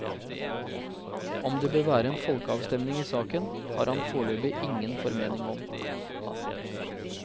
Om det bør være en folkeavstemning i saken, har han foreløpig ingen formening om.